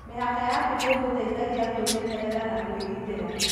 Mĩhaka yaku nĩ ĩgũteithagia kwĩmenyerera na kwĩgĩgitĩra.